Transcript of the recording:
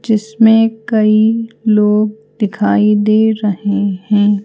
जिसमें कई लोग दिखाई दे रहे हैं।